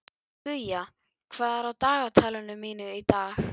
Guja, hvað er í dagatalinu mínu í dag?